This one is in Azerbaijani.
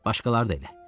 Başqaları da elə.